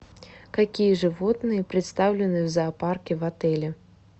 какие животные представлены в зоопарке в отеле